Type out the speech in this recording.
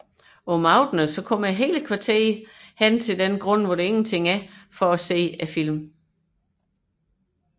Om aftenen mødes hele kvarteret på den ubebyggede grund for at overvære filmforevisningerne